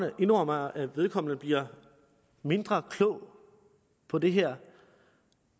indrømmer at han bliver mindre klog på det her